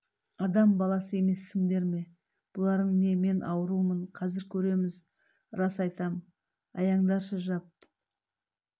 адам баласы емессіңдер ме бұларың не мен аурумын қазір көреміз рас айтам аяңдаршы жап